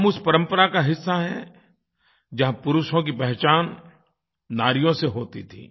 हम उस परंपरा का हिस्सा है जहाँ पुरुषों की पहचान नारियों से होती थी